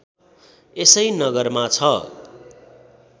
यसै नगरमा छ